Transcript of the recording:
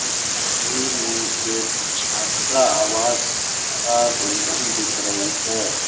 इस तस्वीर में एक छात्रा आवास सा बिल्डिंग दिख रही है।